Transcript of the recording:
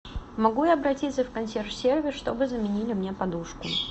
могу я обратиться в консьерж сервис чтобы заменили мне подушку